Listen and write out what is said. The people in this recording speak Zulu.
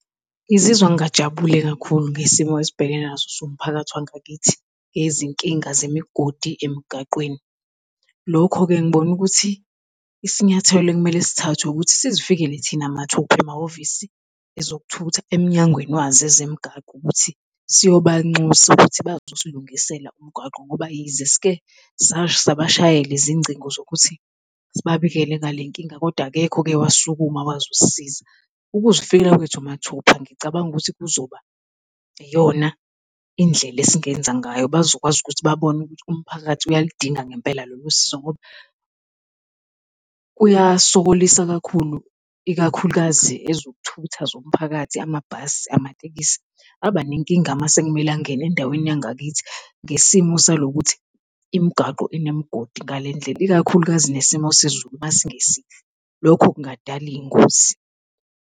Ngizizwa ngingajabule kakhulu ngesimo esibhekene naso siwumphakathi wangakithi yezinkinga zemigodi emgaqweni. Lokho-ke ngibone ukuthi isinyathelo ekumele sithathwe ukuthi sizifikele thina mathupha emahhovisi ezokuthutha emnyangweni wazo ezemgwaqo ukuthi siyobanxusa ukuthi bazosilungisela umgwaqo ngoba yize sike sabashayela izingcingo zokuthi sibabikele ngalenkinga, kodwa akekho oke wasukuma wazosisiza. Ukuzifikela kwethu mathupha ngicabanga ukuthi kuzoba iyona indlela esingenza ngayo. Bazokwazi ukuthi babone ukuthi umphakathi uyaludinga ngempela lolusizo ngoba kuyasokolisa kakhulu, ikakhulukazi ezokuthutha zomphakathi, amabhasi, amatekisi abanenkinga mase kumele angene endaweni yangakithi ngesimo salokuthi imigwaqo inemigodi ngalendlela, ikakhulukazi nesimo sezulu masingesihle, lokho kungadala izingozi.